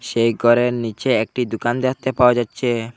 এই ঘরের নীচে একটি দুকান দেখতে পাওয়া যাচ্ছে।